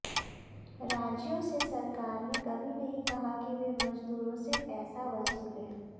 राज्यों से सरकार ने कभी नहीं कहा कि वे मजदूरों से पैसा वसूलें